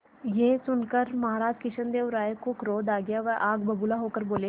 यह सुनकर महाराज कृष्णदेव राय को क्रोध आ गया वह आग बबूला होकर बोले